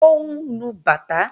Ó ń lu bàtá